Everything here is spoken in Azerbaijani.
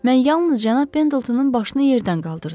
Mən yalnız cənab Pendletonun başını yerdən qaldırdım.